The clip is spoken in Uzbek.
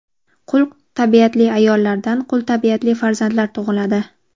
Qul tabiatli ayollardan qul tabiatli farzandlar tug‘iladi.